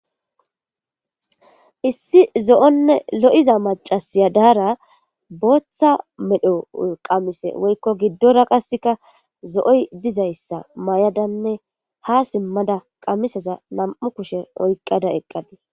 Issi zo'onne lo'iza macasiya daara booththa medho qamise woykko giddora qasseka zo'oy dizayssa mayadanne ha simmada qamisaza nam'u kushe oyqqada eqqadus